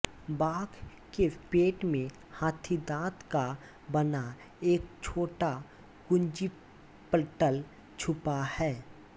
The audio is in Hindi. बाघ़ के पेट में हाथीदांत का बना एक छोटा कुंजीपटल छुपा है